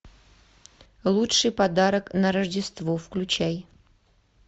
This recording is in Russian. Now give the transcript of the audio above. лучший подарок на рождество включай